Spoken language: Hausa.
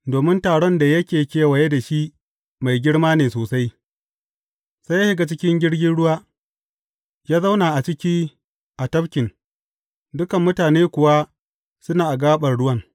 Domin taron da yake kewaye da shi mai girma ne sosai, sai ya shiga cikin jirgin ruwa, ya zauna a ciki a tafkin, dukan mutanen kuwa suna a gaɓar ruwan.